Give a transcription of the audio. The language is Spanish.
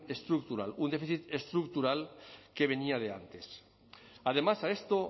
estructural un déficit estructural que venía de antes además a esto